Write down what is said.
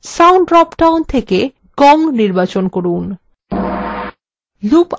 sound drop down থেকে gong নির্বাচন from